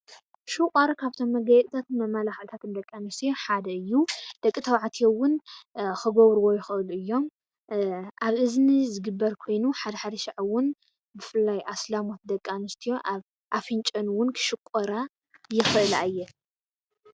ሽቛር ካብ'ቶሞ መጋየፂታትን መምላኽዕታትን ደቅ ኣኒስትዮ ሓደ እዩ፡፡ ደቂ ተባዕትዮ እዉን ክገብርዎ ይኽእሉ አዮሞ፡፡ ኣብ እዝኒ ዝግበር ኮይኑ ሓደ ሓደ ሻዓ እዉን ብፍላይ ደቂ ኣንስትዮ አስላም እውን ኣብ ኣፍንጫአን ክስቆራ ይኽእላ እየን፡፡